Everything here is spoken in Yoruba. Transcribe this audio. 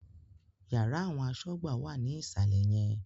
Yàrá àwọn asọ́gbà wà ní ìsàlẹ̀ yẹn